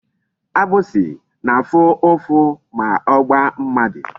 Agbịsị na-afụ ụfụ ma ọ gbaa mmadụ.